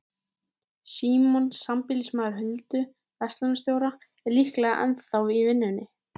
Símon, sambýlismaður Huldu, verslunarstjórinn, er líklega ennþá í vinnunni.